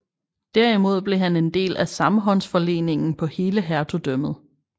Derimod blev han en del af samhåndsforleningen på hele hertugdømmet